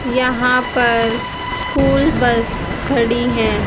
यहां पर school bus खड़ी हैं।